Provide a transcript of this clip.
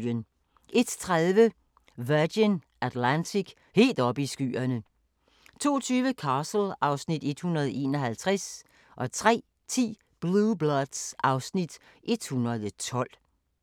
01:30: Virgin Atlantic - helt oppe i skyerne 02:20: Castle (Afs. 151) 03:10: Blue Bloods (Afs. 112)